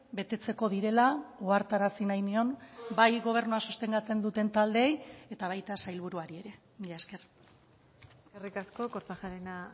betetzeko direla ohartarazi nahi nion bai gobernua sostengatzen duten taldeei eta baita sailburuari ere mila esker eskerrik asko kortajarena